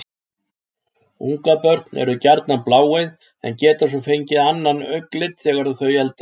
Ungabörn eru gjarnan bláeygð en geta svo fengið annan augnlit þegar þau eldast.